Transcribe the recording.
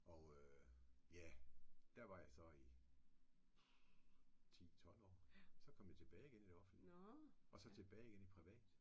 Og ja der var jeg så i 10 12 år så kom jeg tilbage igen i det offentlige og så tilbage igen i privat